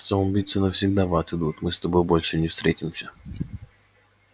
самоубийцы навсегда в ад идут мы с тобой больше не встретимся